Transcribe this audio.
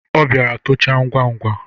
Ọ bịara tocha ngwa ngwa.